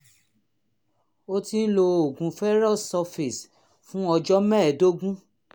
o ti ń lo oògùn ferrous sulfate fún ọjọ́ mẹ́ẹ̀ẹ́dógún